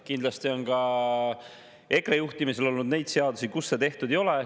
Kindlasti on ka EKRE juhtimisel olnud neid seadusi, kus seda tehtud ei ole.